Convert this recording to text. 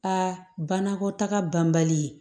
Aa banakɔtaga banbali